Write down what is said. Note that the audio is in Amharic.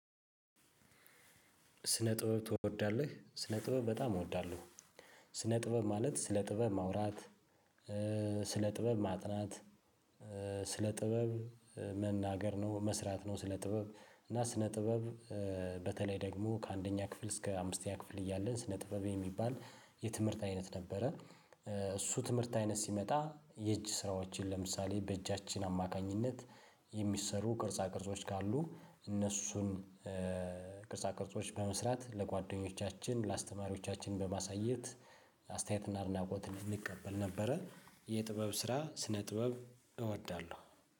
ስነ ጥበብ ትወዳለህ? ስነ ጥበብ በጣም እወዳለሁ። ስነ ጥበብ ማለት ስነ ጥበብ ማውራት፤ ስለ ጥበብ ማጥናት፤ ስለ ጥበብ መናገር ነው፤ መስራት ነው፤ ስለ ጥበብ እና ስለ ጥበብ በተለይ ደግሞ ከአንደኛ ክፍል እስከ አምስተኛ ክፍል እያለን ስነ ጥበብ የሚባል የትምህርት አይነት ነበረ። እሱ ትምህርት አይነት ሲመጣ የእጅ ስራዎችን ለምሳሌ በእጃችን አማካኝነት፤ የሚሰሩ ቅርጻ ቅርጾች ካሉ እነሱን ቅርጻ ቅርጾች በመስራት ለጓደኞቻችን፤ ለአስተማሪዎቻችን፤ በማሳየት አስተያየትና አድናቆት እንድንቀበል ነበረ። የጥበብ ስራ ስነ ጥበብ እወዳለሁ።